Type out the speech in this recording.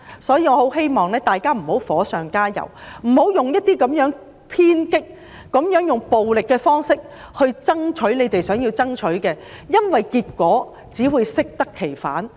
所以，我很希望大家不要火上加油，採用偏激、暴力的方式作出爭取，因這只會適得其反。